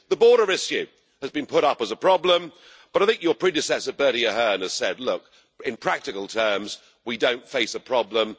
The border issue has been put up as a problem, but I think your predecessor Bertie Ahern has said, look, in practical terms we don't face a problem.